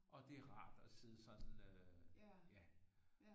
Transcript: Og det er rart at sidde sådan øh ja